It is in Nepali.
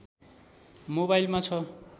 मोबाइलमा छ